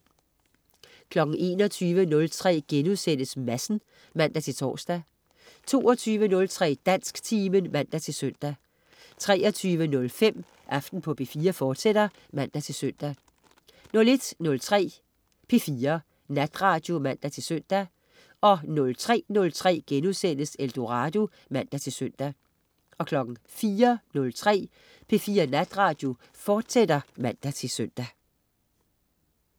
21.03 Madsen* (man-tors) 22.03 Dansktimen (man-søn) 23.05 Aften på P4, fortsat (man-søn) 01.03 P4 Natradio (man-søn) 03.03 Eldorado* (man-søn) 04.03 P4 Natradio, fortsat (man-søn)